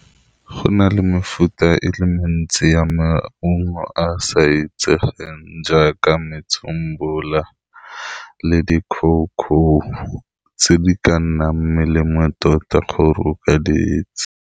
Go na le mefuta e le mentsi ya maungo a a sa itsegeng jaaka metsembula, le di-coco tse di ka nnang melemo tota gore o ka diitse.